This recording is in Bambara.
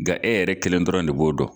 Nga e yɛrɛ kelen dɔrɔn de b'o dɔn.